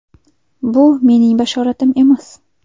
Bu mening bashoratim emas.